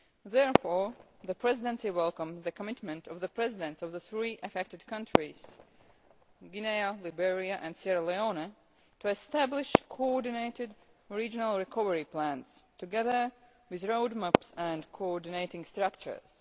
Therefore, the Presidency welcomes the commitment of the Presidents of the three affected countries Guinea, Liberia and Sierra Leone to establish coordinated regional recovery plans together with roadmaps and coordinating structures.